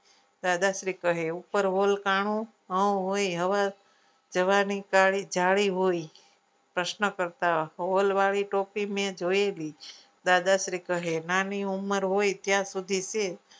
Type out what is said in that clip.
દાદાશ્રી કહે ઉપર hall કાણું હોય હવા જવાની કાળી જાળી હોય પ્રશ્ન કરતા hall વાળી ટોપી મેં જોયેલી દાદાશ્રી કહે નાની ઉમર હોય ત્યાં સુધી છે.